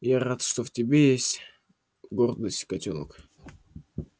я рад что в тебе есть гордость котёнок